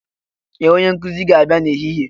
Ee! Onye nkuzi ga-abịa n'ehihie.